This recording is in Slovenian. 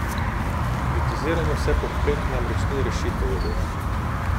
Kritiziranje vse povprek namreč ni rešitev, je dejal.